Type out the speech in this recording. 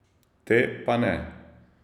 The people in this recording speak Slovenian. Te pa ne.